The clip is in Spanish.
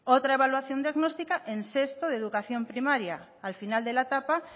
otra evaluación diagnóstica en sexto de educación primaria al final de la etapa